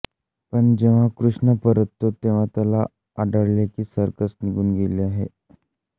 पण जेव्हा कृष्ण परततो तेव्हा त्याला आढळले की सर्कस निघुन गेली आहे